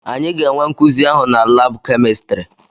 Anyị ga-enwe nkuzi ahụ na laabụ kemịstrị.